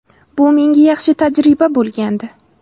Bu menga yaxshi tajriba bo‘lgandi.